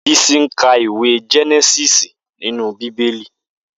Bisi n kà iwé Jènèsìsí ninú Bibéli